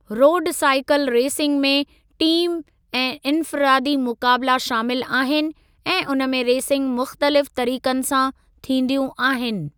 रोडु cycle racing में team ऐं इन्फ़िरादी मुक़ाबिला शामिलु आहिनि ऐं उन में रेसिंग मुख़्तलिफ़ तरीक़नि सां थींदियूं आहिनि।